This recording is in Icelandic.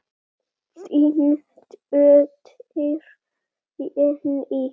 Þín dóttir, Jenný.